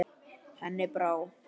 Henni brá.